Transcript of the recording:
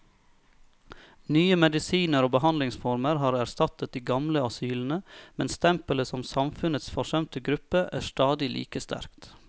Nye medisiner og behandlingsformer har erstattet de gamle asylene, men stempelet som samfunnets forsømte gruppe er stadig like sterkt.